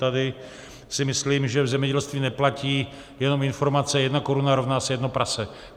Tady si myslím, že v zemědělství neplatí jenom informace "jedna koruna rovná se jedno prase".